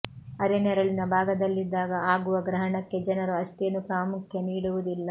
ಅರೆ ನೆರಳಿನ ಭಾಗದಲ್ಲಿದ್ದಾಗ ಆಗುವ ಗ್ರಹಣಕ್ಕೆ ಜನರು ಅಷ್ಟೇನೂ ಪ್ರಾಮುಖ್ಯ ನೀಡುವುದಿಲ್ಲ